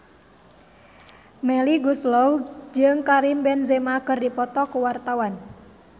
Melly Goeslaw jeung Karim Benzema keur dipoto ku wartawan